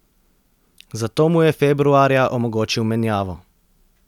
Zato mu je februarja omogočil menjavo.